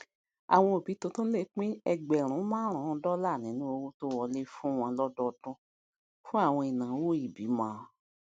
àwọn òbí tuntun lè pín ẹgbèrun márùnún dọlà nínú owó tó wọlé fún wọn lọdọọdún fún àwọn ináwó ìbímọ